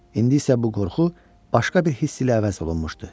İndi isə bu qorxu başqa bir hiss ilə əvəz olunmuşdu.